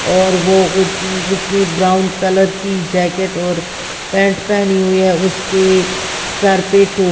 और वो उस उसने ब्राउन कलर की जैकेट और पैंट पहनी हुई है उसके सर पे टो।